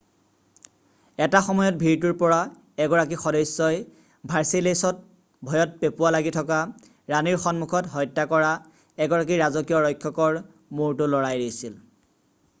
এটা সময়ত ভিৰটোৰ পৰা এগৰাকী সদস্যই ভাৰ্ছেইলেছত ভয়ত পেঁপুৱা লাগি থকা ৰাণীৰ সন্মুখত হত্যা কৰা এগৰাকী ৰাজকীয় ৰক্ষকৰ মূৰটো লৰাই দিছিল